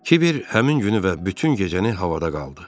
Kiber həmin günü və bütün gecəni havada qaldı.